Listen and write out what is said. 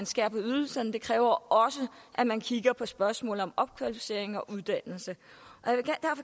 skærer på ydelserne det kræver også at man kigger på spørgsmålet om opkvalificering og uddannelse